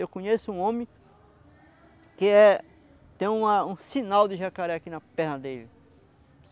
Eu conheço um homem que é tem um a um sinal de jacaré aqui na perna dele.